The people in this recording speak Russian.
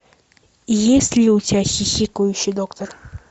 есть ли у тебя хихикающий доктор